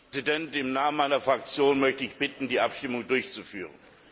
Herr Präsident! Im Namen meiner Fraktion möchte ich bitten, die Abstimmung durchzuführen.